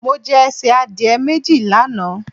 Mo jẹ ẹsẹ̀ adìẹ méjì lánàá.